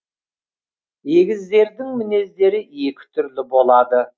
егіздердің мінездері екі түрлі болады